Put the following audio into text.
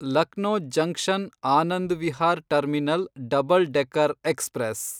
Lucknow junction Anand Vihar terminal double decker express